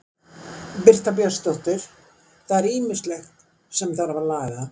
Birta Björnsdóttir: Það er ýmislegt sem þarf að laga?